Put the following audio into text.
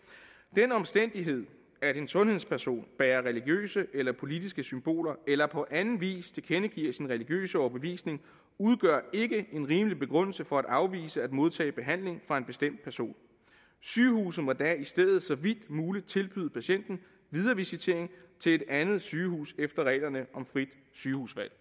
den omstændighed at en sundhedsperson bærer religiøse eller politiske symboler eller på anden vis tilkendegiver sin religiøse overbevisning udgør ikke en rimelig begrundelse for at afvise at modtage behandling fra en bestemt person sygehuset må da i stedet så vidt muligt tilbyde patienten viderevisitering til et andet sygehus efter reglerne om frit sygehusvalg